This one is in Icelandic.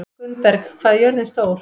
Gunnberg, hvað er jörðin stór?